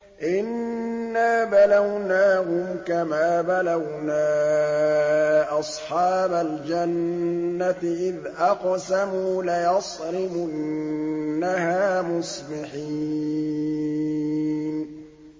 إِنَّا بَلَوْنَاهُمْ كَمَا بَلَوْنَا أَصْحَابَ الْجَنَّةِ إِذْ أَقْسَمُوا لَيَصْرِمُنَّهَا مُصْبِحِينَ